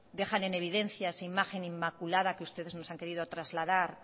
dejan en evidencia esa imagen inmaculada que ustedes nos han querido trasladas